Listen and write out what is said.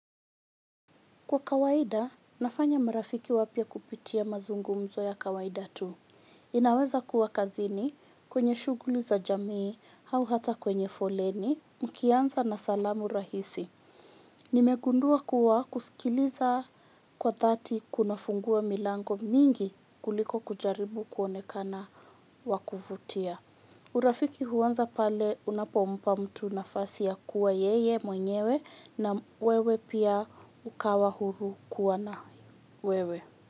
Kwa kawaida, nafanya marafiki wapya kupitia mazungumzo ya kawaida tu. Inaweza kuwa kazini kwenye shughuli za jamii, au hata kwenye foleni, nikianza na salamu rahisi. Nimegundua kuwa kusikiliza kwa thati kunafungua milango mingi kuliko kujaribu kuonekana wa kuvutia. Urafiki huanza pale unapompa mtu nafasi ya kuwa yeye mwenyewe na wewe pia ukawa huru kuwa na wewe.